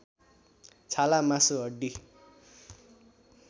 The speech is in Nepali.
छाला मासु हड्डी